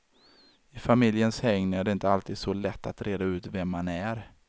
I familjens hägn är det inte alltid så lätt att reda ut vem man är.